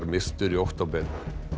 myrtur í október